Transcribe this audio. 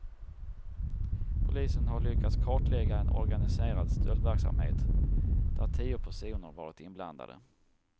Polisen har lyckats kartlägga en organiserad stöldverksamhet, där tio personer varit inblandade.